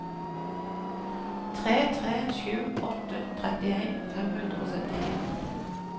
tre tre sju åtte trettien fem hundre og syttien